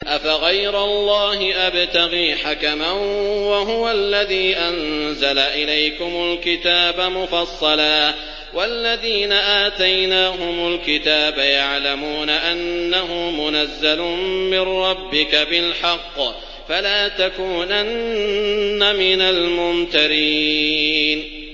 أَفَغَيْرَ اللَّهِ أَبْتَغِي حَكَمًا وَهُوَ الَّذِي أَنزَلَ إِلَيْكُمُ الْكِتَابَ مُفَصَّلًا ۚ وَالَّذِينَ آتَيْنَاهُمُ الْكِتَابَ يَعْلَمُونَ أَنَّهُ مُنَزَّلٌ مِّن رَّبِّكَ بِالْحَقِّ ۖ فَلَا تَكُونَنَّ مِنَ الْمُمْتَرِينَ